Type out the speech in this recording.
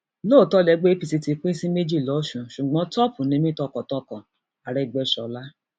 lóòótọ lẹgbẹ apc ti pín sí méjì lọsùn ṣùgbọn top ni mí tọkàntọkànagẹgbèsọla